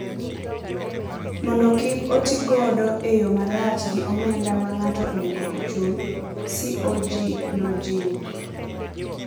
mondo kik otigodo e yo marach gi omenda ma ng’ato onego ochul,” CoG nojiwo.